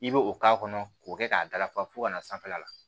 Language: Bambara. I bɛ o k'a kɔnɔ k'o kɛ k'a dafa fo ka na sanfɛla la